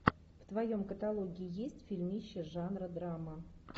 в твоем каталоге есть фильмище жанра драма